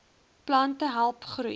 plante help groei